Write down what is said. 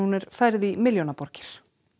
er færð í milljóna borgir